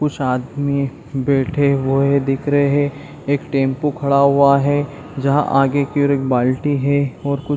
कुछ आदमी बैठे हुए है दिख रहे है एक टैम्पो खड़ा हुआ है जहाँ आगे की और एक बाल्टी है और कुछ--